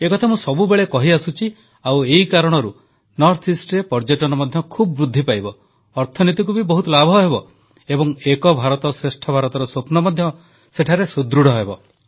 ଏକଥା ମୁଁ ସବୁବେଳେ କହିଆସୁଛି ଆଉ ଏଇ କାରଣରୁ ଉତର ପୂର୍ବାଂଚଳରେ ପର୍ଯ୍ୟଟନ ମଧ୍ୟ ଖୁବ୍ ବୃଦ୍ଧି ପାଇବ ଅର୍ଥନୀତିକୁ ବି ବହୁତ ଲାଭ ହେବ ଏବଂ ଏକ ଭାରତ ଶ୍ରେଷ୍ଠ ଭାରତର ସ୍ୱପ୍ନ ମଧ୍ୟ ସେଠାରେ ସୁଦୃଢ଼ ହେବ